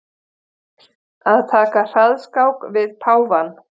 Að taka hraðskák við páfann